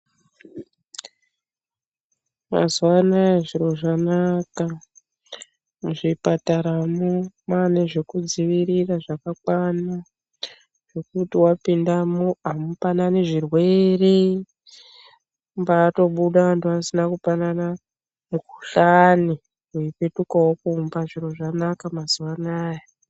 Mazuwanaya zviro zvakanaka. Muzvipataramwo mwane nezvekudzivirira zvakakwana zvekuti wapindamwo amupananani zvirwere. Kumbatobuda vantu vasina kupanana mikhuhlane weipetukawo kumba. Zviro zvanaka mazuwanaya.